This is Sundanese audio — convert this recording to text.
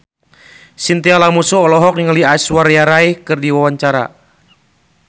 Chintya Lamusu olohok ningali Aishwarya Rai keur diwawancara